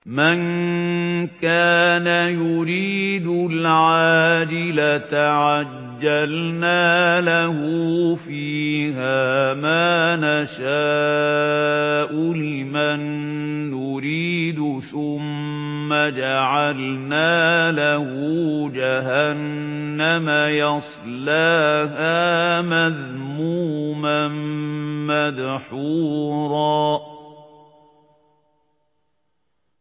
مَّن كَانَ يُرِيدُ الْعَاجِلَةَ عَجَّلْنَا لَهُ فِيهَا مَا نَشَاءُ لِمَن نُّرِيدُ ثُمَّ جَعَلْنَا لَهُ جَهَنَّمَ يَصْلَاهَا مَذْمُومًا مَّدْحُورًا